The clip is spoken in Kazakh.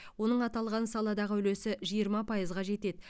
оның аталған саладағы үлесі жиырма пайызға жетеді